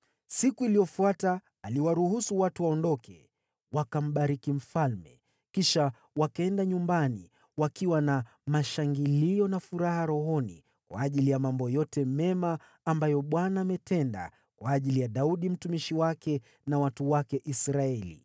Siku iliyofuata, aliwaruhusu watu waondoke. Wakambariki mfalme, kisha wakaenda nyumbani, wakiwa na mashangilio na furaha rohoni kwa ajili ya mambo yote mema ambayo Bwana ametenda kwa ajili ya Daudi mtumishi wake na watu wake Israeli.